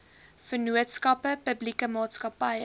vennootskappe publieke maatskappye